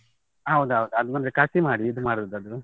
ಹೌದೌದು, ಅದ್ ನಮ್ಗೆ ಕಸಿ ಮಾಡಿ ಇದ್ ಮಾಡುದ್ ಅದು.